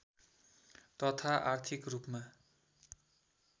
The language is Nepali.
तथा आर्थिक रूपमा